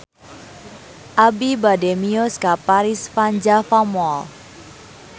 Abi bade mios ka Paris van Java Mall